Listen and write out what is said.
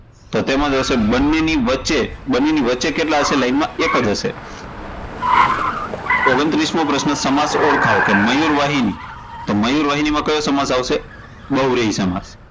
તો તેમાં જવાબ આવશે, તો બંનેની વચ્ચે, બંનેની વચ્ચે કેટલા હશે line માં? એકજ હશે. ઓગણત્રીસ મો પ્રશ્ન, સમાસ ઓળખાવો, મયુર વાહિની, મયુર વહિનીમાં કયો સમાસ આવશે? બહુવ્રિહી સમાસ.